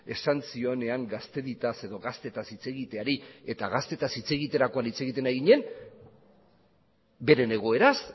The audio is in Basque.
esan zionean gaztediaz edo gaztetaz hitz egiteari eta gaztetaz hitz egiterakoan hitz egiten ari ginen beren egoeraz